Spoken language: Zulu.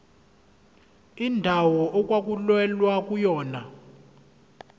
indawo okwakulwelwa kuyona